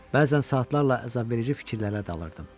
Bəzən saatlarla əzabverici fikirlərə dalırdım.